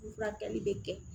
Ni furakɛli bɛ kɛ